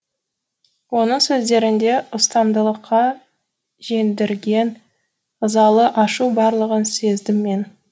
оның сөздерінде ұстамдылыққа жеңдірген ызалы ашу барлығын сездім мен